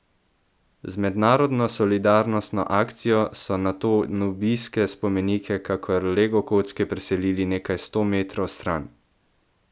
Z mednarodno solidarnostno akcijo so nato nubijske spomenike kakor legokocke preselili nekaj sto metrov stran.